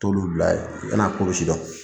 Tolu bila y'a n'a k'olu sidɔn.